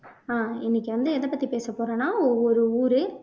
ஆஹ் இன்னைக்கு வந்து எத பத்தி பேச போறோம்னா ஒவ்வொரு ஊரு